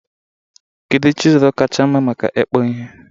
Kedu chịzụlụ kacha mma maka ìkpụ̀ ihe?